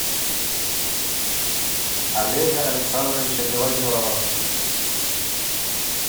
олега александровича белозерова